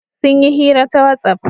Sun yi hira ta whatsapp.